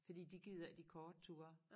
Fordi de gider ikke de korte ture